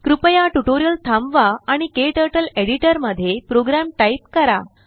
कृपयाटुटोरिअल थांबवा आणिKTurtleएडिटरमध्ये program type करा